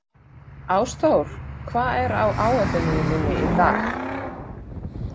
Ásþór, hvað er á áætluninni minni í dag?